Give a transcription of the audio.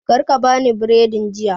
Karka ka bani biredin jiya